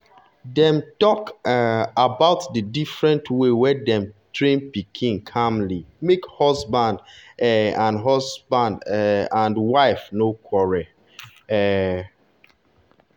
dem talk um about the different way dem dey train pikin calmly make husband um and husband um and wife no quarrel. um